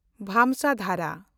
ᱵᱚᱝᱥᱚᱫᱷᱟᱨᱟ